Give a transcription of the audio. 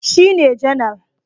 Shi ne janar